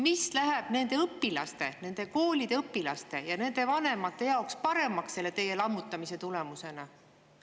Mis läheb nende koolide õpilaste ja nende vanemate jaoks paremaks teie lammutamise tulemusena?